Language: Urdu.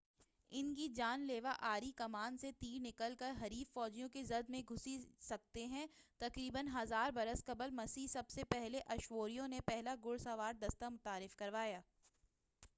ان کی جان لیوا آڑی کمان سے تیر نکل کر حریف فوجیوں کی زرہ میں گھس سکتے تھے تقریبا 1000 برس قبل مسیح سب سے پہلے اشوریوں نے پہلا گھڑسوار دستہ متعارف کرایا